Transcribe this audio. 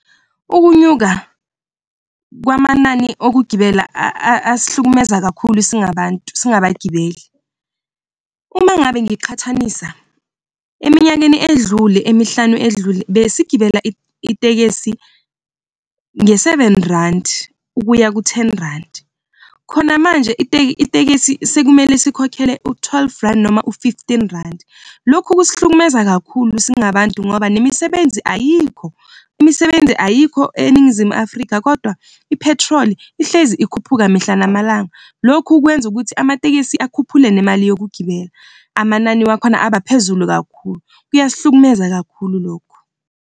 Ukunyuka kwamanani okugibela asihlukumeza kakhulu singabantu singabagibeli. Uma ngabe ngiqhathanisa, eminyakeni edlule emihlanu edlule besigibela itekisi nge-seven randi ukuya ku-ten randi, khona manje itekisi sekumele sikhokhele u-twelve randi noma u-fifteen randi. Lokhu kusihlukumeza kakhulu singabantu ngoba nemisebenzi ayikho, imisebenzi ayikho eNingizimu Afrika kodwa i-petrol ihlezi ikhuphuka mihla namalanga. Lokhu kwenza ukuthi amatekisi akhuphule nemali yokugibela amanani wakhona abaphezulu kakhulu kuyasihlukumeza kakhulu lokho.